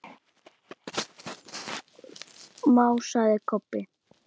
másaði Kobbi.